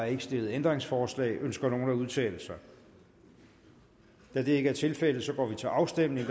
ikke stillet ændringsforslag ønsker nogen at udtale sig da det ikke er tilfældet går vi til afstemning